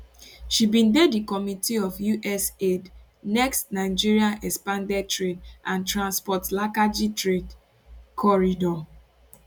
she bin dey di committee of usaidnextt nigerian expanded trade and transport lakaji trade corridor